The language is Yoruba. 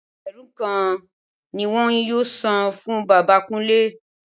Ẹgbẹ̀rún kan ni wọn yóò san fún bàbá Kúnlé